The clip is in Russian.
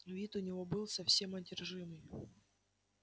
вид у него был совсем одержимый